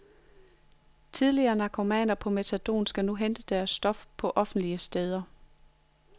Tidligere narkomaner på metadon skal nu hente deres stof på offentlige steder.